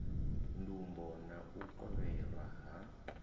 ndumbo na u kovhelwa ha